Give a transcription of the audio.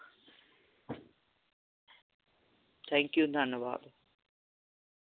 Thank you ਧੰਨਵਾਦ